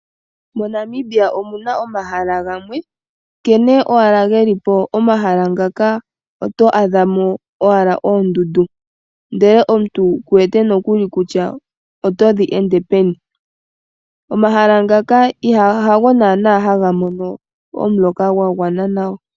MoNamibia omu na omahala gamwe, nkene owala ge li po, momahala muka oto adha mo ashike, oondundu ndele omuntu ku wete kutya o to dhi ende peni. Omahala ngaka ha go naana ha ga mono omuloka gwa gwana nawa.